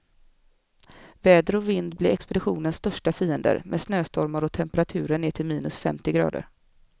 Väder och vind blir expeditionens största fiender, med snöstormar och temperaturer ner till minus femtio grader.